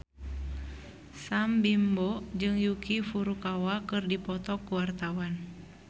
Sam Bimbo jeung Yuki Furukawa keur dipoto ku wartawan